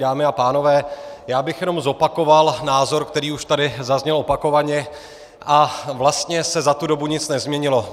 Dámy a pánové, já bych jenom zopakoval názor, který už tady zazněl opakovaně, a vlastně se za tu dobu nic nezměnilo.